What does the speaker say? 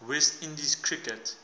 west indies cricket